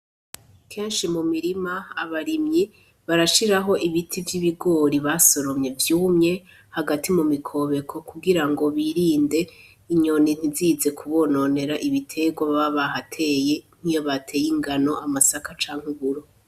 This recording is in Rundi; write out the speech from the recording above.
Kenshi mu mirima abarimyi barashiraho ibiti vyibigori basoromye vyumye hagati mu mikobeko kugirango birinde inyoni ntizize kubononera ibitegwa baba bahateye nkiyo bateye ingano, amasaka canke uburo.